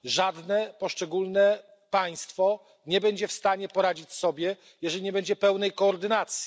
Żadne poszczególne państwo nie będzie w stanie poradzić sobie, jeżeli nie będzie pełnej koordynacji.